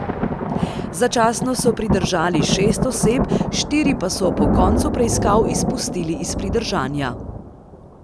Začasno so pridržali šest oseb, štiri pa so po koncu preiskav izpustili iz pridržanja.